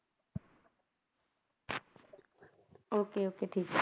Okay okay ਠੀਕ